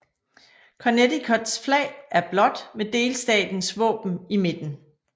Connecticuts flag er blåt med delstatens våben i midten